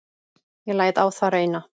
Ég læt á það reyna.